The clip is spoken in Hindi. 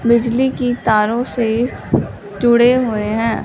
बिजली की तारो से जुड़े हुए है।